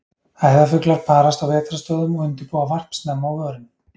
æðarfuglar parast á vetrarstöðvum og undirbúa varp snemma á vorin